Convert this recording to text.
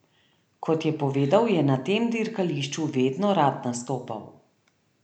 Kot je povedal je na tem dirkališču vedno rad nastopal.